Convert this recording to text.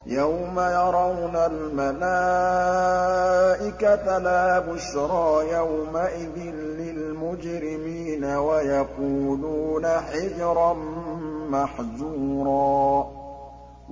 يَوْمَ يَرَوْنَ الْمَلَائِكَةَ لَا بُشْرَىٰ يَوْمَئِذٍ لِّلْمُجْرِمِينَ وَيَقُولُونَ حِجْرًا مَّحْجُورًا